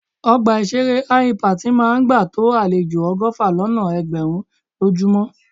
Ọgbà ìṣeré Hi-Impact máa ń gbà tó àlejò ọgọ́fà lọ́nà ẹgbẹ̀rún lójúmọ́.